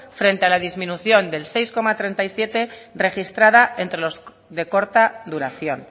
frente a la disminución del seis coma treinta y siete registrada entre los de corta duración